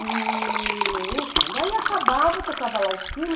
E, enfim, daí acabava, tocava lá o sino.